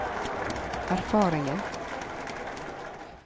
erfaringen